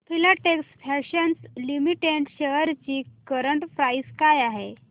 Filatex fashions limited shares ची current price काय आहे